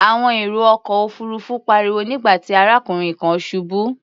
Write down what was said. Àwọn èrò ọkọ̀ òfuurufú pariwo nígbà tí arákùnrin kan ṣubú.